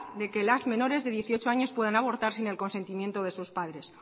de que las menores de dieciocho años puedan abortar sin el consentimiento de sus padres